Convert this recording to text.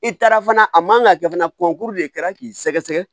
I taara fana a man ka kɛ fana kurukuru de kɛra k'i sɛgɛsɛgɛ